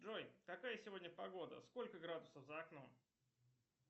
джой какая сегодня погода сколько градусов за окном